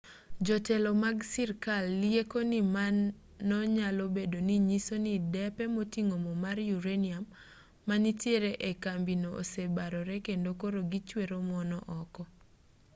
jotelo mag sirkal lieko ni mano nyalobedo ni nyiso ni depe moting'o mo mar uranium manitiere ee kambino osebarore kendo koro gichwero mo no oko